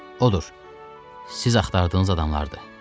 Odur, siz axtardığınız adamlardır.